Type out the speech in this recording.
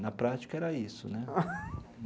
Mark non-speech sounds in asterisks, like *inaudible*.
Na prática, era isso, né? *laughs*